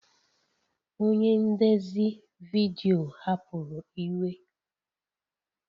Onye ndezi vidiyo hapụrụ iwe